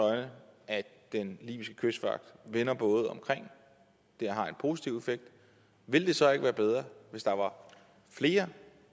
øjne at den libyske kystvagt vender både om altså at det har en positiv effekt ville det så ikke være bedre hvis der var flere